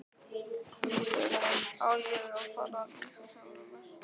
Á ég að fara að lýsa sjálfum mér?